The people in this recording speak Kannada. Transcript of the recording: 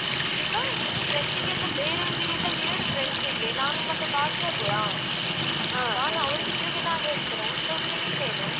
ಈಗ ನೀನು friend ಗೆ ಎಲ್ಲಾ ಬೇರೆಯವರಿಗೆಲ್ಲಾ ಹೇಳು friends ಗೆ ನಾನು ಮತ್ತೆ ಬಾಕಿ ಆಗುವೆಯಾ ಹಾ ನಾನ್ ಅವ್ರಿಗೆ ಇಬ್ಬರಿಗೆ ನಾನ್ ಹೇಳ್ತೇನೆ ಉಳ್ದವರಿಗೆ ನೀನು ಹೇಳು.